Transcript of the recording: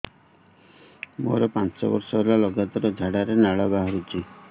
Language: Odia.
ମୋରୋ ପାଞ୍ଚ ବର୍ଷ ହେଲା ଲଗାତାର ଝାଡ଼ାରେ ଲାଳ ବାହାରୁଚି